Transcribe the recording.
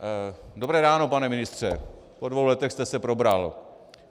Dobré ráno, pane ministře, po dvou letech jste se probral.